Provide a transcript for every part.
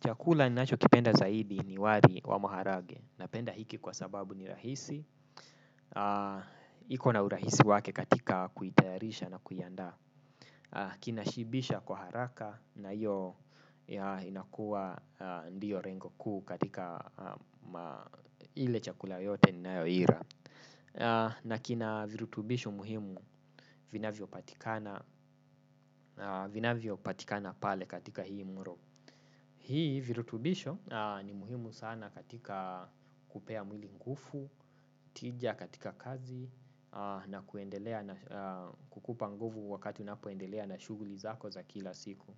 Chakula ninachokipenda zaidi ni wari wa maharage. Napenda hiki kwa sababu ni rahisi. Iko na urahisi wake katika kuitayarisha na kuiandaa. Kina shibisha kwa haraka na iyo inakuwa ndiyo rengo kuu katika ile chakula yote ninayoira. Na kina virutubisho muhimu vinavyo patikana pale katika hii mro. Hii virutubisho ni muhimu sana katika kupea mwili ngufu, tija katika kazi na kukupa nguvu wakati unapoendelea na shuguli zako za kila siku.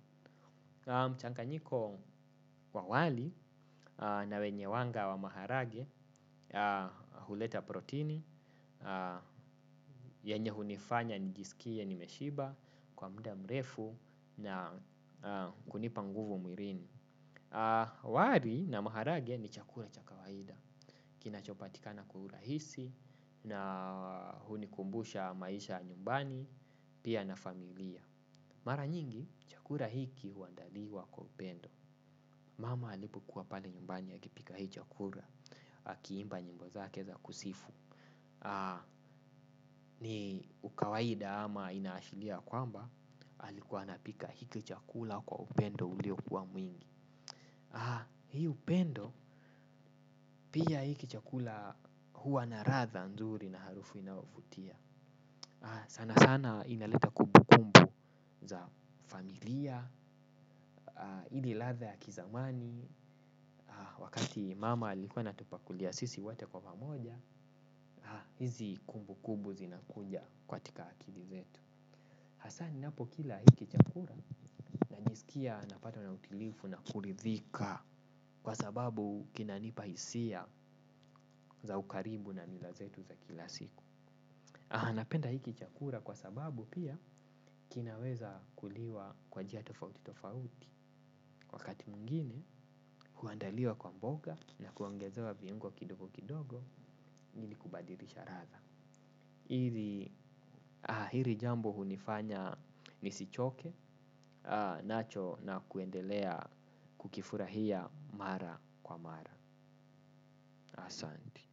Mchanganyiko wa wali na wenye wanga wa maharage huleta protini, yenye hunifanya nijisikie nimeshiba kwa muda mrefu na kunipa nguvu mwirini. Wari na maharage ni chakura cha kawaida. Kinachopatikana kwa urahisi. Na hunikumbusha maisha ya nyumbani. Pia na familia mara nyingi chakura hiki uandaliwa kwa upendo. Mama alipokuwa pale nyumbani akipika hii chakura akiimba nyimbo zake za kusifu. Ni ukawaida ama inaashilia kwamba alikuwa anapika hiki chakula kwa upendo uliokuwa mwingi. Hii upendo pia hiki chakula huwa na ratha nzuri na harufu inaovutia. Sana sana inaleta kubukumbu za familia. Hili ladha ya kizamani. Wakati mama ilikuwa anatupakulia sisi wote kwa pamoja. Hizi kumbukumbu zinakuja kwatika akili zetu. Hasa ninapokila hiki chakula najisikia napata na utilifu na kuridhika. Kwa sababu kinanipa hisia za ukaribu na mila zetu za kila siku napenda hiki chakura kwa sababu pia kinaweza kuliwa kwa jia tofauti tofauti. Wakati mwingine huandaliwa kwa mboga na kuongezewa viungo kidogo kidogo hili kubadirisha radha. Hiri jambo hunifanya nisichoke nacho na kuendelea kukifurahia mara kwa mara. Asanti.